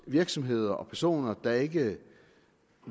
virksomheder og personer der ikke